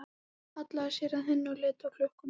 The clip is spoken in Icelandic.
Hallaði sér að henni og leit á klukkuna.